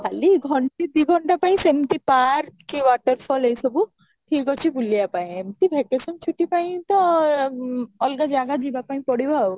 ଖାଲି ଘଣ୍ଟେ ଦି ଘଣ୍ଟା ପାଇଁ ସେମିତି park କି water fall ଏ ସବୁ ଠିକ ଅଛି ବୁଲିବା ପାଇଁ ଏମିତି vacation ଛୁଟି ପାଇଁ ତ ଅଁ ଅଲଗା ଜାଗା ଯିବା ପାଇଁ ପଡିବ ଆଉ